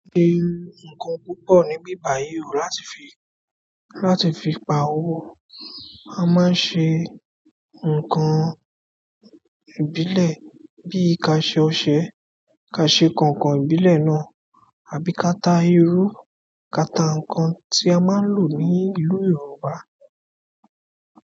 Ṣe nǹkan púpọ̀ ní bí bàyìí rù láti fi, láti fi pa owó. A máa ṣe nǹkan ìbílẹ̀ bí i kàṣe ọṣẹ, kàṣe kọ̀ọ̀kan ìbílẹ̀ náà, àbí kata iru, kata nǹkan tí a máa ń lò ní ìlú Yorùbá.